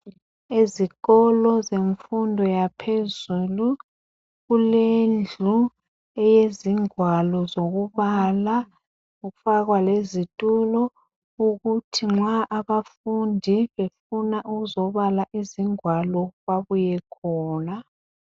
Ezikolo zemfundo yaphezulu kulendlu eyezingwalo zokubala kwafakwa lezitulo ukuthi nxa abafundi befuna ukuzobala izingwalo babuye khona .